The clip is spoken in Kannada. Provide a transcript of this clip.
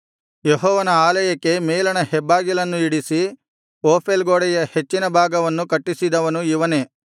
ಯೆಹೋವನ ಆಲಯಕ್ಕೆ ಮೇಲಣ ಹೆಬ್ಬಾಗಿಲನ್ನು ಇಡಿಸಿ ಓಫೇಲ್ ಗೋಡೆಯ ಹೆಚ್ಚಿನ ಭಾಗವನ್ನು ಕಟ್ಟಿಸಿದವನು ಇವನೇ